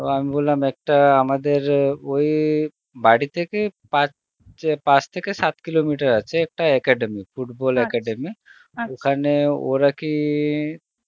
তো আমি বললাম একটা আমাদের ওই বারিথেকে পাঁচ চে~ পাঁচ থেকে সাত kilometer আছে একটা academy football ওরা কি